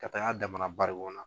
Ka taga a damana barikɔn na.